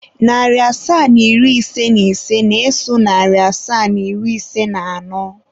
Narị asaa na iri ise na ise na-eso narị asaa na iri ise na anọ.